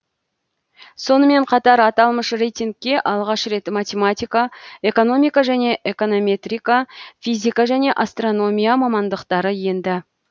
сонымен қатар аталмыш рейтингке алғаш рет математика экономика және эконометрика физика және астрономия мамандықтары енді